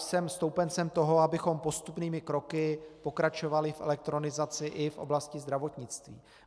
Jsem stoupencem toho, abychom postupnými kroky pokračovali v elektronizaci i v oblasti zdravotnictví.